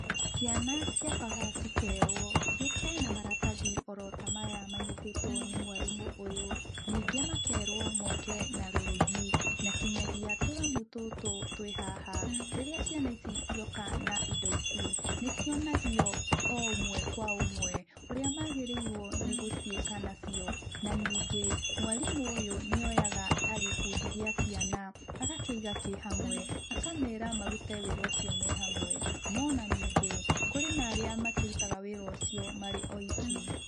Ciana ciambaga cikerwo ciũke na maratathi oro ota maya manyitĩtwo nĩ mwarimũ ũyũ. Ningĩ makerwo moke na rũrigi, na nginyagia tũramu tũtũ twĩ haha. Rĩrĩa ciana ici cioka na indo ici, nĩ cionagio o ũmwe kwa ũmwe ũrĩa magĩrĩirwo nĩ gũciĩka nacio. Na ningĩ, mwarimũ ũyũ nĩ oyaga ta gĩkundi gĩa ciana, agakĩiga kĩhamwe, akamera marute wĩra ũcio mehamwe, no ona ningĩ, kũrĩ na arĩa makĩrutaga wĩra ũcio marĩ o iki.